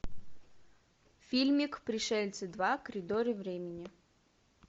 фильмик пришельцы два коридоры времени